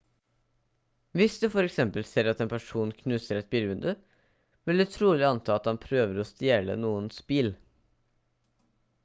hvis du for eksempel ser at en person knuser et bilvindu vil du trolig anta at han prøver å stjele noens bil